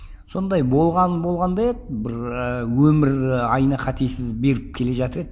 сондай болған болған да еді бір ыыы өмір айына қатесіз беріп келе жатыр еді